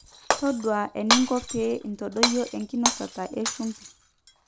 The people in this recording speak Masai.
taduaa eninko pee intadoyio enkinosata eshumbi